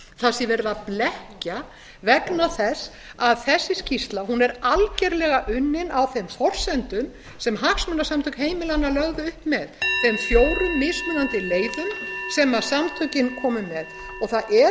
sé verið að blekkja vegna þess að þessi skýrsla er algerlega unnin á þeim forsendum sem hagsmunasamtök heimilanna lögðu upp með þeim fjórum mismunandi leiðum sem samtökin komu með það er